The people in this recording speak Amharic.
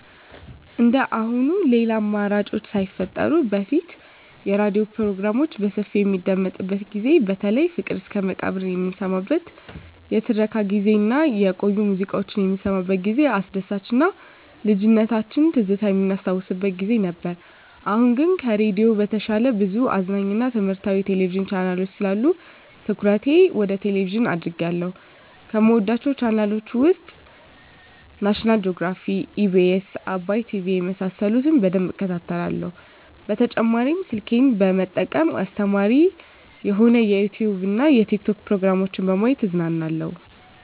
እንደአሁኑ ሌላ አማራጮች ሳይፈጠሩ በፊት የሬዲዮ ፕሮግራሞች በሰፊው በሚደመጥበት ጊዜ በተለይ ፍቅር እስከመቃብር የምንሰማበት የትረካ ጊዜ እና የቆዩ ሙዚቃዎች የምንሰማበት ጊዜ አስደሳች እና የልጅነት ትዝታ የምናስታውስበት ጊዜ ነበር። አሁን ግን ከሬዲዮ በተሻለ ብዙ አዝናኝ እና ትምህረታዊ የቴሌቪዥን ቻናሎች ስላሉ ትኩረቴ ወደ ቴሌቭዥን አድርጌአለሁ። ከምወዳቸው ቻናሎች ውስጥ ናሽናል ጆግራፊ, ኢቢኤስ, አባይ ቲቪ የመሳሰሉት በደንብ እከታተላለሁ። በተጨማሪ ስልኬን በመጠቀም አስተማሪ የሆኑ የዩቲዉብ እና የቲክቶክ ፕሮግራሞችን በማየት እዝናናለሁ።